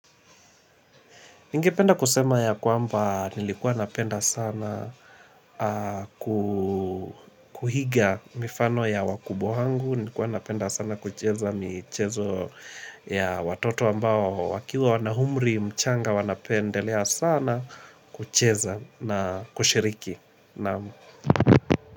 Ningependa kusema ya kwamba nilikuwa napenda sana kuhiga mifano ya wakubwa wangu, nikuwa napenda sana kucheza mchezo ya watoto ambao wakiwa wana umri mchanga wanapendelea sana kucheza na kushiriki.